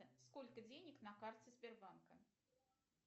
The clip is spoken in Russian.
сколько денег на карте сбербанка